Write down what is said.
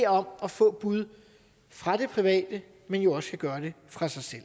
om at få bud fra det private men jo også skal gøre det fra sig selv